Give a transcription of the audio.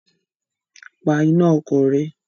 Pa iná ọkọ̀ rẹ!